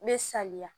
Me saliya